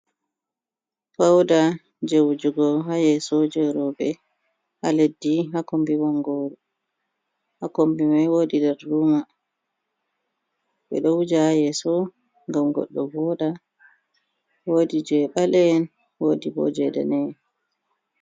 Fauda jee wujugo haa yeeso je roɓe haa leɗɗi haa kombi bongoru mai woodii dar ruma, ɓe ɗo wuja haa yeeso ngam goɗɗo voɗa woodi je ɓale en woodii ɓo je dane en.